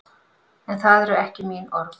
En það eru ekki mín orð.